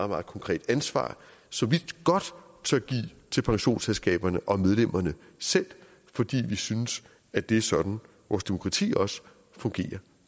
meget konkret ansvar som vi godt tør give til pensionsselskaberne og medlemmerne selv fordi vi synes at det er sådan vores demokrati også fungerer